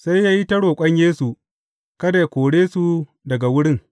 Sai ya yi ta roƙon Yesu, kada yă kore su daga wurin.